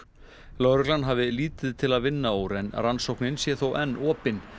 lögreglan hafi lítið til að vinna úr en rannsóknin sé þó enn opin